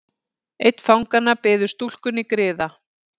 Einn fanganna biður stúlkunni griða.